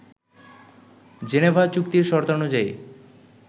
Geneva চুক্তির শর্তানুযায়ী